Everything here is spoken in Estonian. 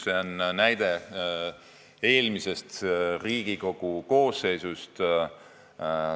See näide on pärit eelmisest Riigikogu koosseisust.